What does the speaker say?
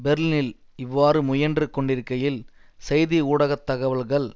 பெர்லினில் இவ்வாறு முயன்று கொண்டிருக்கையில் செய்தி ஊடக தகவல்கள்